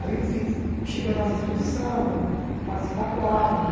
Aí eu fiz cheguei a fazer exposição, parti para quadro.